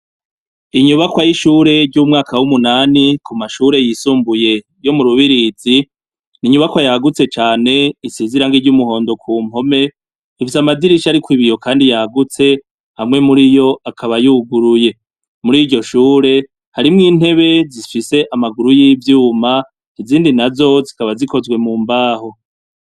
Inyubakwa yamashure ryo mumwaka wumunani kumashurey yisumbuye yo murubirizi, inyubako yagutse cane isize ibara ry umuhondo kumpome ifite amadirisha ariko ibiyo kdi yagutse amwe muriyo akaba yuguruye. Muriryoshure harimwo intebe zifise amamguru yibyuma izindi nazo zikabazikozwe mumbaho.